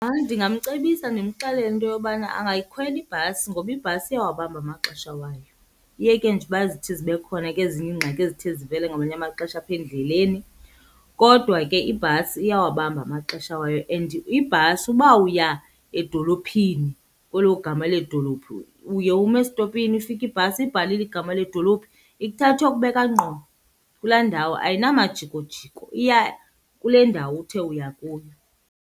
Ndingamcebisa ndimxelele into yobana angayikhwela ibhasi ngoba ibhasi iyawabamba amaxesha wayo. Uyeke nje uba zithi zibe khona ke ezinye iingxaki ezithi zivele ngamanye amaxesha apha endleleni, kodwa ke ibhasi iyawabamba amaxesha wayo. And ibhasi uba uya edolophini kwelo gama leedolophu, uye ume estopini ifike ibhasi ibhalile igama ledolophu. Ikuthatha iyokubeka ngqo kulaa ndawo ayinamajikojiko, iya kule ndawo uthe uya kuyo.